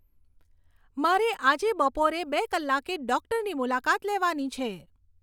મારે આજે બપોરે બે કલાકે ડોક્ટરની મુલાકાત લેવાની છે